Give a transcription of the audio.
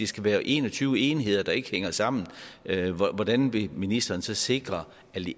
skal være en og tyve enheder der ikke hænger sammen hvordan vil ministeren så sikre